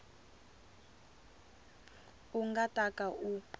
u nga ta ka u